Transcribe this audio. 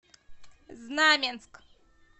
знаменск